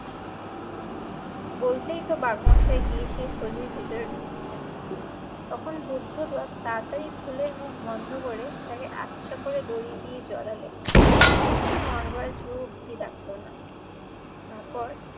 বলতেই তো বাঘমশায় গিয়ে সেই থলির ভেতরে ঢুকেছেন, তখন বুদ্ধ বাপ তাড়াতাড়ি থলের মুখ বন্ধ করে তাকে আচ্ছা করে দড়ি দিয়ে জড়ালো। একটু নড়বার জো অবধি রাখলো না। তারপর